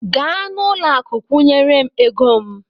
Gaa n'ụlọakụ kwụnyere m ego m!